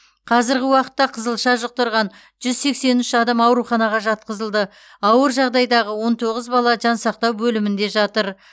қазіргі уақытта қызылша жұқтырған жүз сексен үш адам ауруханаға жатқызылды ауыр жағдайдағы он тоғыз бала жансақтау бөлімінде жатыр